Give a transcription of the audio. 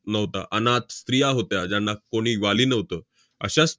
नव्हता, अनाथ स्त्रिया होत्या, ज्यांना कोणी वाली नव्हतं, अश्या स~